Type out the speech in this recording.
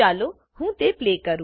ચાલો હું તે પ્લે કરું